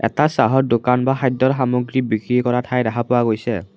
এটা চাহৰ দোকান বা খাদ্যৰ সামগ্ৰী বিক্ৰী কৰা ঠাই দেখা পোৱা গৈছে।